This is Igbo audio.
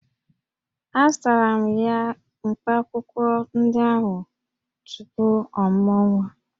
Azụtara m ya mkpaakwụkwọ ndị ahụ tupu ọ mụọ nwa